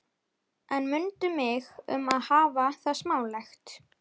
En mundu mig um að hafa það smálegt.